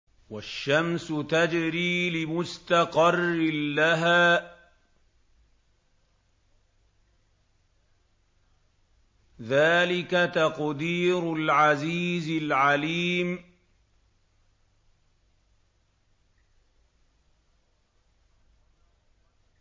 وَالشَّمْسُ تَجْرِي لِمُسْتَقَرٍّ لَّهَا ۚ ذَٰلِكَ تَقْدِيرُ الْعَزِيزِ الْعَلِيمِ